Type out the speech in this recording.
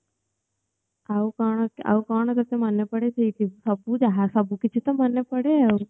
ଆଉ କଣ ଆଉ କଣ କିଛି ମନେ ଯାହା ସବୁ ଯାହା ସବୁତ କିଛି ମନେ ପଡେ ଆଉ